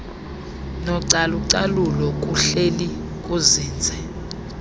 nocalucalulo kuhleli kuzinze